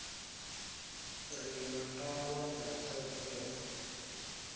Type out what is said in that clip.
re na ndavha na thoḓea